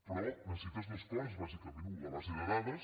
però necessites dues coses bàsicament u la base de dades